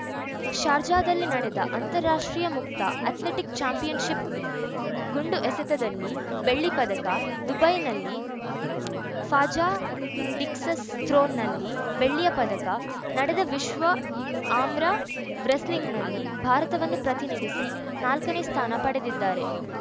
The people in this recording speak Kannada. ಶಾರ್ಜಾದಲ್ಲಿ ನಡೆದ ಅಂತಾರಾಷ್ಟ್ರೀಯ ಮುಕ್ತ ಅಥ್ಲೆಟಿಕ್‌ ಚಾಂಪಿಯನ್‌ಶಿಪ್‌ ಗುಂಡು ಎಸೆತದಲ್ಲಿ ಬೆಳ್ಳಿ ಪದಕ ದುಬೈನಲ್ಲಿ ಫಾಜಾ ಡಿಸ್ಕಸ್‌ ಥ್ರೋನಲ್ಲಿ ಬೆಳ್ಳಿಯ ಪದಕ ನಡೆದ ವಿಶ್ವ ಆಮ್ರ ವ್ರೆಸ್ಲಿಂಗ್‌ನಲ್ಲಿ ಭಾರತವನ್ನು ಪ್ರತಿನಿಧಿಸಿ ನಾಲ್ಕನೇ ಸ್ಥಾನ ಪಡೆದಿದ್ದಾರೆ